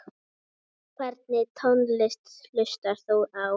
Hvernig tónlist hlustar þú á?